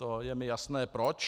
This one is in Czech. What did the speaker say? To je mi jasné proč.